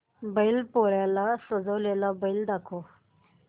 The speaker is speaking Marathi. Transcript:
बैल पोळ्याला सजवलेला बैल दाखव